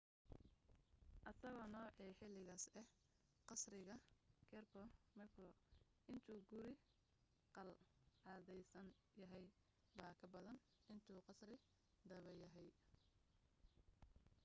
isagoo noocii xiligaas ah qasriga kirby muxloe intuu guri qalcadaysan yahay baa ka badan intuu qasri dhaba yahay